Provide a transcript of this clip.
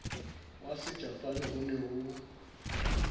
wa sejapane ho ne ho